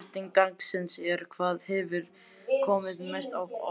Seinni spurning dagsins er: Hvað hefur komið mest á óvart?